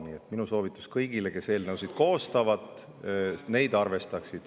Nii et minu soovitus kõigile, kes eelnõusid koostavad, on see, et nad neid arvestaksid.